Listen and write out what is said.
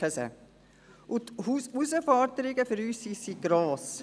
Die Herausforderungen für uns sind gross.